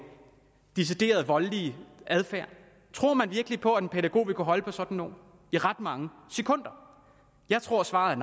decideret voldelig adfærd tror man virkelig på at en pædagog vil kunne holde på sådan nogle i ret mange sekunder jeg tror at svaret